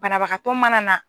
Banabagatɔ mana na.